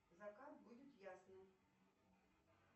закат будет ясным